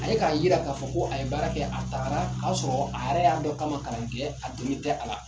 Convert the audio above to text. A ye k'a yira k'a fɔ ko a ye baara kɛ a tagara ka sɔrɔ a yɛrɛ y'a dɔn k'a ma kalan kɛ a dɔnni tɛ a la